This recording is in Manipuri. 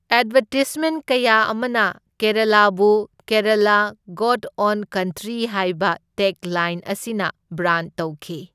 ꯑꯦꯗꯚꯔꯇꯤꯁꯃꯦꯟꯠ ꯀꯌꯥ ꯑꯃꯅ ꯀꯦꯔꯥꯂꯥꯕꯨ ꯀꯦꯔꯥꯂꯥ, ꯒꯣꯗ ꯑꯣꯟ ꯀꯟꯇ꯭ꯔꯤ ꯍꯥꯏꯕ ꯇꯦꯒꯂꯥꯏꯟ ꯑꯁꯤꯅ ꯕ꯭ꯔꯥꯟꯗ ꯇꯧꯈꯤ꯫